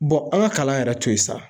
an ka kalan yɛrɛ to yen sa.